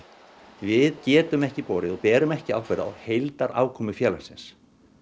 við getum ekki borið og berum ekki ábyrgð á heildarafkomu félagsins